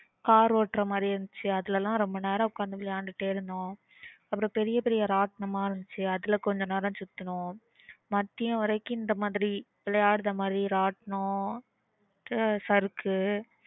car ஓட்டுற மாதிரி இருந்துச்சு அதுல லாம் ரொம்ப நேரம் ஒக்காந்து விளையாடிட்டே இருந்தோம் அப்புறம் பெரிய பெரிய ராட்டினம் இருந்துச்சு அதுல கொஞ்சம் நேரம் சுத்தினோம் மதியம் வரைக்கும் இந்த மாதிரி விளையாடுற மாதிரி ராட்டினம் ஆஹ் சறுக்கு